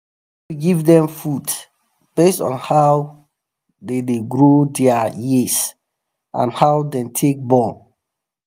give them food based on how the da grow their um years and how them take born